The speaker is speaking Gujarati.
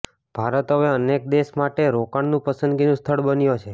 ભારત હવે અનેક દેશો માટે રોકાણનું પસંદગીનું સ્થળ બન્યો છે